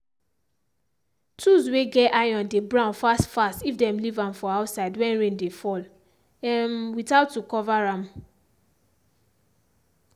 tools way get iron dey brown fast fast if dem leave am for outside when rain dey fall um without to cover am.